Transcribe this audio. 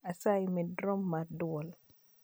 Asayi med rom mar dwol